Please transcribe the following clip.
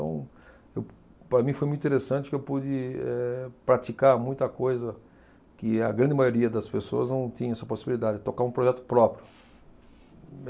Então, para mim foi muito interessante que eu pude, eh, praticar muita coisa que a grande maioria das pessoas não tinha essa possibilidade, tocar um projeto próprio.